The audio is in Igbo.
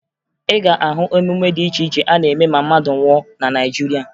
Ị ga-ahụ emume dị iche iche a na-eme ma mmadụ nwụọ na Naịjirịa